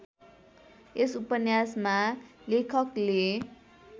यस उपन्यासमा लेखकले